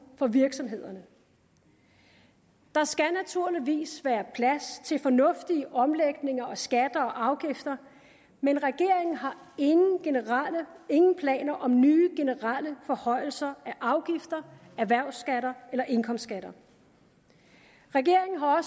for virksomhederne der skal naturligvis være plads til fornuftige omlægninger af skatter og afgifter men regeringen har ingen planer om nye generelle forhøjelser af afgifter erhvervsskatter eller indkomstskatter regeringen har